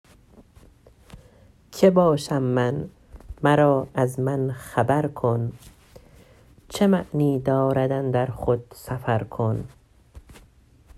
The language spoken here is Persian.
که باشم من مرا از من خبر کن چه معنی دارد اندر خود سفر کن